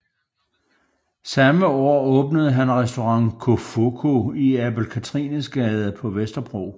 Samme år åbnede han restaurant Cofoco i Abel Cathrines Gade på Vesterbro